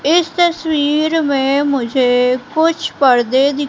इस तस्वीर में मुझे कुछ पर्दे दि--